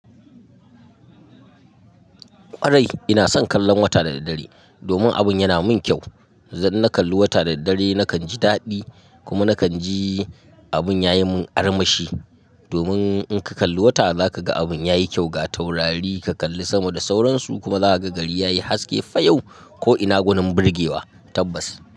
Ƙwarai ina son kallon wata da daddare domin abun yana mun kyau. Idan na kalli wata da daddare nakan ji daɗi kuma nakan ji abun yayi mun armashi. Domin in ka kalli wata za ka ga abun yayi kyau ga taurari ka kalli sama da sauransu kuma za ka ga gari yayi haske fa yau ko ina gunin burgewa. Tabbas.